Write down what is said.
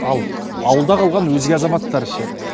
ал ауылда қалған өзге азаматтар ше